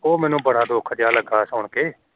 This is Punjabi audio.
ਉਹ ਮੈਨੂੰ ਬੜਾ ਦੁੱਖ ਜਾ ਲੱਗਾ ਸੁਣਕੇ